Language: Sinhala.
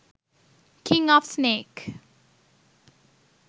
king of snake